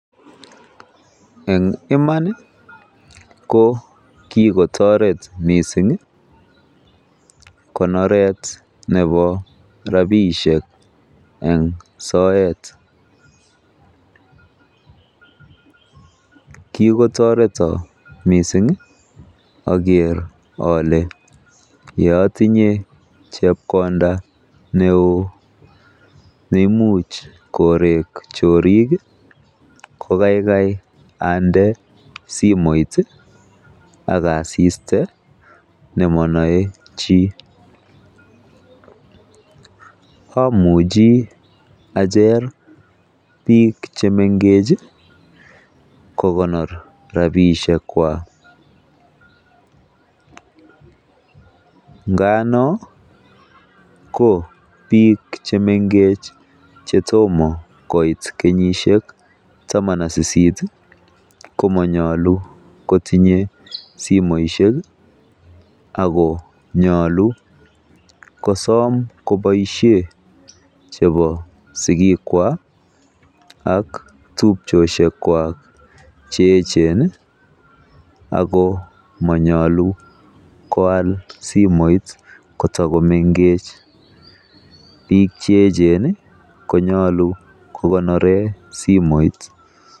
En iman ko kigotoret mising konoret nebo rabishek en soet. Kigotoreton mising ager ole ye otinye chepkonda neo neimuch korek chorik ko kaigai ande simoit ak asiste nemonoe chi. Amuchi achere biik che mengech kogonor rabishekwak, ngano ko biik che mengech che tomo koit kenyisiek taman ak sisit komonyolu kotinye simoishek ago nyolu kosom koboisien chebo sigikwak ak tupchosiek kwak che eechen ago monyolu koal simoit kotago mengech biik che eechen konyolu kogonren simoit.